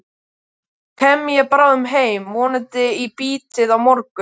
Svo kem ég bráðum heim, vonandi í bítið á morgun.